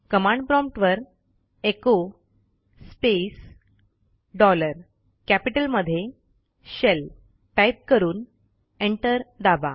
command prompt वरecho space dollar कॅपिटलमध्ये shell type करून एंटर दाबा